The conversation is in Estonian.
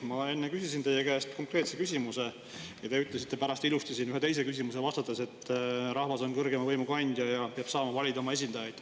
Ma enne küsisin teie käest konkreetse küsimuse ja te ütlesite pärast ilusti siin ühele teisele küsimusele vastates, et rahvas on kõrgeima võimu kandja ja peab saama valida oma esindajaid.